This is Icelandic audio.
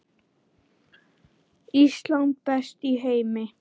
Ísland, best í heimi.